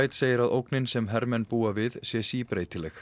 segir að ógnin sem hermenn búi við sé síbreytileg